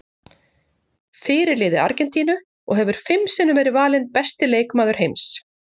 Fyrirliði Argentínu og hefur fimm sinnum verið valinn besti leikmaður heims.